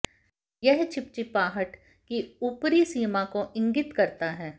यह चिपचिपाहट की ऊपरी सीमा को इंगित करता है